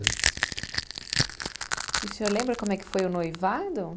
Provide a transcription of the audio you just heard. E o senhor lembra como é que foi o noivado?